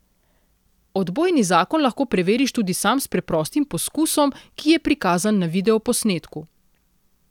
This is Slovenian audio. Odbojni zakon lahko preveriš tudi sam s preprostim poskusom, ki je prikazan na videoposnetku.